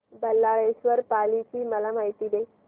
बल्लाळेश्वर पाली ची मला माहिती दे